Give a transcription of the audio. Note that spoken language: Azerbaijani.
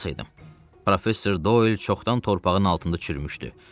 Mən olmasaydım, Professor Doyl çoxdan torpağın altında çürümüşdü.